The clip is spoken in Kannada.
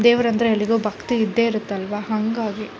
ದೇವರು ಅಂದ್ರೆ ಎಲ್ಲರಿಗೂ ಭಕ್ತಿ ಇದ್ದೇ ಇರುತ್ತಲ್ವಾ ಹಂಗಾಗಿ --